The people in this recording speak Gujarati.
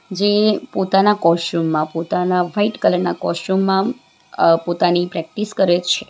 જે પોતાના કોષ્ટ્યુમ માં પોતાના વાઈટ કલર ના કોષ્ટ્યુમ માં અહ પોતાની પ્રેક્ટિસ કરે છે.